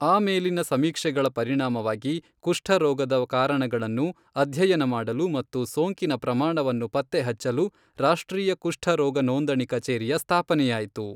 ಆಮೇಲಿನ ಸಮೀಕ್ಷೆಗಳ ಪರಿಣಾಮವಾಗಿ, ಕುಷ್ಠರೋಗದ ಕಾರಣಗಳನ್ನು ಅಧ್ಯಯನ ಮಾಡಲು ಮತ್ತು ಸೋಂಕಿನ ಪ್ರಮಾಣವನ್ನು ಪತ್ತೆಹಚ್ಚಲು ರಾಷ್ಟ್ರೀಯ ಕುಷ್ಠರೋಗ ನೋಂದಣಿ ಕಚೇರಿಯ ಸ್ಥಾಪನೆಯಾಯಿತು.